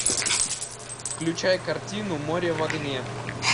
включай картину море в огне